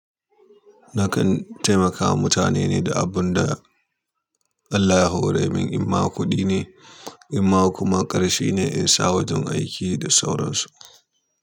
Nakan taimakawa mutane ne da abin da Allah ya hore min, in ma kuɗi ne, in ma kuma ƙarshe ne in sa wajen aiki da sauransu.